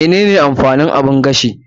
Mene ne amfanin oven?